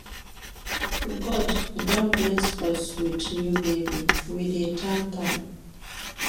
God don bless us wit new baby, we dey tank am.